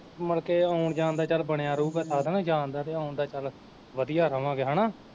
ਮੁੜਕੇ ਆਉਣ ਜਾਣ ਦਾ ਚੱਲ ਬਣਿਆ ਰਹੂਗਾ ਸਾਧਨ ਜਾਣ ਦਾ ਤੇ ਆਉਣ ਦਾ ਚੱਲ ਵਧੀਆ ਰਵਾਂਗੇ ਹਨਾ।